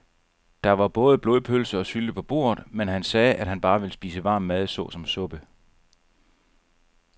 Der var både blodpølse og sylte på bordet, men han sagde, at han bare ville spise varm mad såsom suppe.